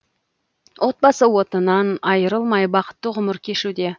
отбасы отынан айрылмай бақытты ғұмыр кешуде